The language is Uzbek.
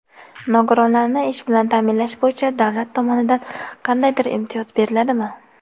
"Nogironlarni ish bilan ta’minlash bo‘yicha Davlat tomonidan qandaydir imtiyoz beriladimi?".